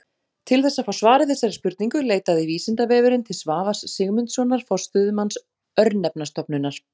Til þess að fá svar við þessari spurningu leitaði Vísindavefurinn til Svavars Sigmundssonar forstöðumanns Örnefnastofnunar.